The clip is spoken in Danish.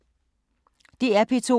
DR P2